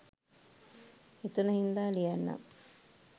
හිතුන හින්දා ලියන්නම්.